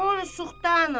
Kor suxtanə.